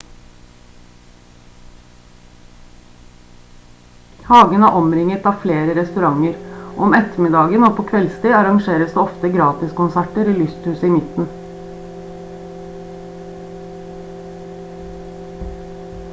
hagen er omringet av flere restauranter og om ettermiddagen og på kveldstid arrangeres det ofte gratiskonserter i lysthuset i midten